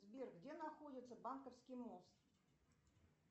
сбер где находится банковский мост